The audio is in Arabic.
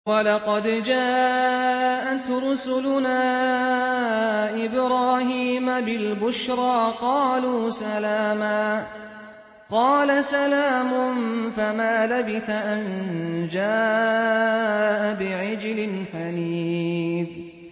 وَلَقَدْ جَاءَتْ رُسُلُنَا إِبْرَاهِيمَ بِالْبُشْرَىٰ قَالُوا سَلَامًا ۖ قَالَ سَلَامٌ ۖ فَمَا لَبِثَ أَن جَاءَ بِعِجْلٍ حَنِيذٍ